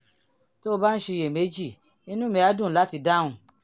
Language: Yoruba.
tó o bá ń ṣiyèméjì inú mi á dùn láti dáhùn